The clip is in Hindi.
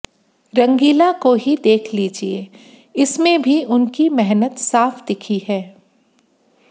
रंगीला को ही देख लीजिए इसमें भी उनकी मेहनत साफ दिखी है